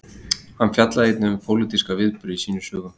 hann fjallaði einnig um pólitíska viðburði í sínum sögum